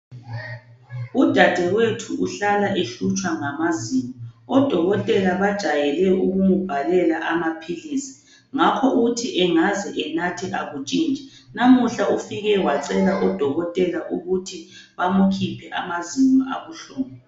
Udadewethu uhlala ehlutshwa ngamazinyo, odokotela bajayele ukumbhalela amaphilisi ngakho uthi ngaze enathe akutshintshi. Namuhla ufike wacela odokotela ukuthi bamukhiphe amazinyo abuhlungu.